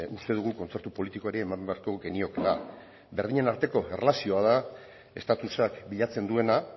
uste dugu kontzertu politikoari eman beharko geniokeela berdinen arteko erlazioa da estatusak bilatzen duena